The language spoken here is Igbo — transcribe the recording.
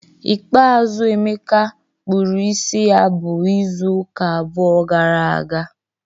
Ikpeazụ Emeka kpụrụ isi ya bụ izu ụka abụọ gara aga.